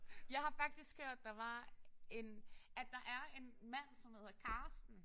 Jeg har faktisk hørt der var en at der er en mand som hedder Carsten